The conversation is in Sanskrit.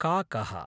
काकः